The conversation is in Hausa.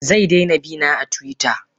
Zaidaina bina a twitter.